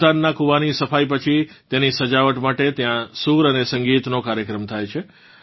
સુલ્તાનનાં કૂવાની સફાઇ પછી તેની સજાવટ માટે ત્યાં સૂર અને સંગીતનો કાર્યક્રમ થાય છે